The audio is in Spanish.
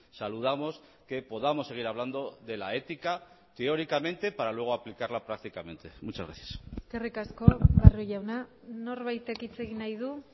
saludamos que podamos seguir hablando de la ética teóricamente para luego aplicarla prácticamente muchas gracias eskerrik asko barrio jauna norbaitek hitz egin nahi du